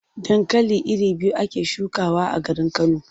Dankali iri biyu ake shukawa a garin Kano.